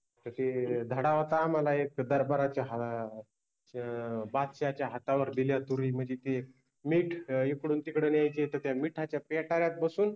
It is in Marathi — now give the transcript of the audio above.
तसे धडा होता आम्हाला एक दरबाराचे हा ते बादशाहाच्या हातावर दिल्या तुरि मनजे ते मिठ इकडुन तिकडे न्यायचे त त्या मिठाच्या पेटाऱ्यात बसुन